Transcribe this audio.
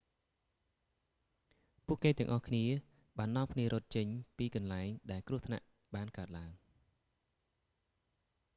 ពួកគេទាំងអស់គ្នាបាននាំគ្នារត់ចេញពីកន្លែង ដែលគ្រោះថ្នាក់បានកើតឡើង